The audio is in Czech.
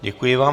Děkuji vám.